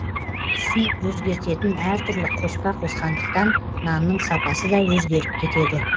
түсін өзгертетін әртүрлі қоспа қосқандықтан нанның сапасы да өзгеріп кетеді